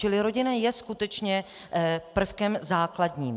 Čili rodina je skutečně prvkem základním.